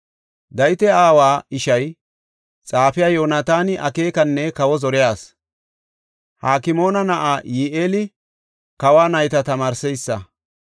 Dawita aawa ishay, xaafey Yoonataani akeekanne kawa zoriya asi. Hakmoona na7ay Yi7eeli kawa nayta tamaarsees.